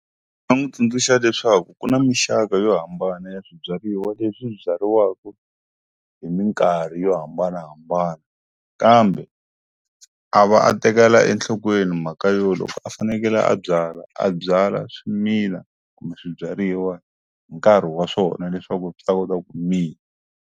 Ndzi nga n'wi tsundzuxa leswaku ku na muxaka yo hambana ya swibyariwa leswi byariwaku hi minkarhi yo hambanahambana kambe a va a tekela enhlokweni mhaka yo loko a fanekele a byala a byala swimila kumbe swibyariwa hi nkarhi wa swona leswaku swi ta kota ku mila.